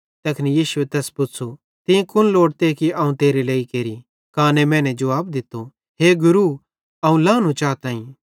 तैखन यीशुए तैस पुच़्छ़ू तीं कुन लोड़ते कि अवं तेरे लेइ केरि काने मैने जुवाब दित्तो हे गुरू अवं लानू चाताईं